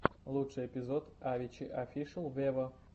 лучший эпизод авичи офишел вево